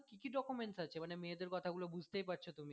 কী কী documents আছে মানে মেয়েদের কথা গুলো বুঝতেই পারছো তুমি